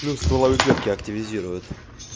плюс стволовые клетки активизирует